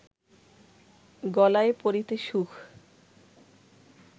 গলায় পরিতে সুখ